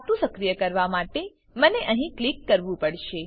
ખાતું સક્રિય કરવા માટે મને અહીં ક્લિક કરવું પડશે